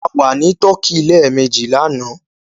A wà ní tọkí lẹ́ẹ̀mejì lánàá